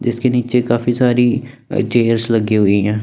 जिसके नीचे काफी सारी चेयर्स लगी हुई है।